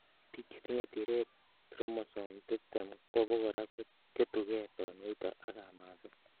Biik chetinye tiret chromosome tiptem kobokora koketukei tonuito ak kamaset.